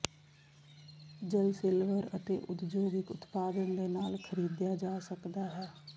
ਜਲ ਸਿਲਵਰ ਅਤੇ ਉਦਯੋਗਿਕ ਉਤਪਾਦਨ ਦੇ ਨਾਲ ਖਰੀਦਿਆ ਜਾ ਸਕਦਾ ਹੈ